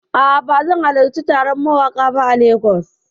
A'a, bazan halarci taron mawaƙa ba a Lagos.